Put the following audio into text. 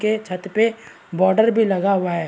के छत पे बॉर्डर भी लगा हुआ है।